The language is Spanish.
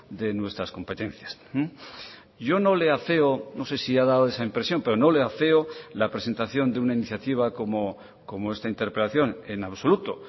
de nuestras competencias yo no le afeo no sé si ha dado esa impresión pero no le afeo la presentación de una iniciativa como esta interpelación en absoluto